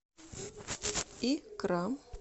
икра